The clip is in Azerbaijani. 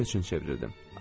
Getmək üçün çevrildim.